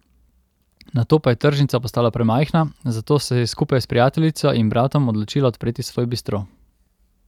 Nato pa je tržnica postala premajhna, zato se je skupaj s prijateljico in bratom odločila odpreti svoj bistro.